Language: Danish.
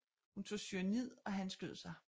Hun tog cyanid og han skød sig